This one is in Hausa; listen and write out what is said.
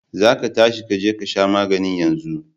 za ka tashi ka je ka sha maganin yanzu!